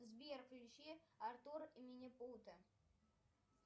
сбер включи артур и минипуты